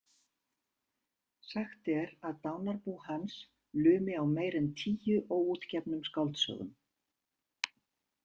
Sagt er að dánarbú hans lumi á meira en tíu óútgefnum skáldsögum.